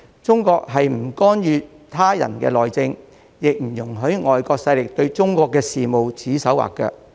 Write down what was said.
中國不干預他人的內政，亦不容許外國勢力對中國事務指手劃腳。